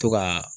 To ka